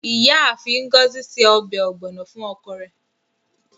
Iyaafin Ngozi se ọbẹ ogbono fun oko re